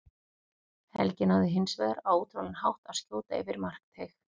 Helgi náði hins vegar á ótrúlegan hátt að skjóta yfir af markteig.